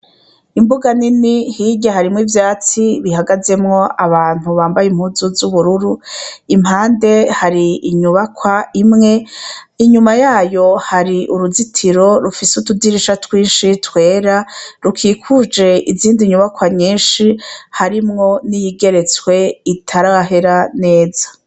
Imbuga nini hirya harimwo ivyatsi bihagazemwo abantu bambaye impuzu z' ubururu impande hari inyubakwa imwe inyuma yayo hari uruzitiro rufise utudirisha twinshi twera rukikuje izindi nyubakwa nyinshi harimwo n' iyigeretswe itarahera neza.